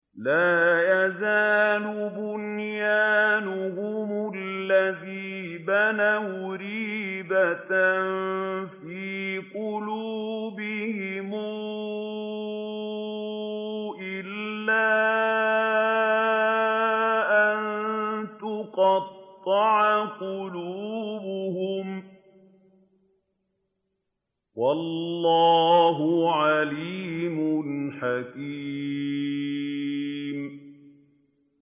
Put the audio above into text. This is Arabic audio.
لَا يَزَالُ بُنْيَانُهُمُ الَّذِي بَنَوْا رِيبَةً فِي قُلُوبِهِمْ إِلَّا أَن تَقَطَّعَ قُلُوبُهُمْ ۗ وَاللَّهُ عَلِيمٌ حَكِيمٌ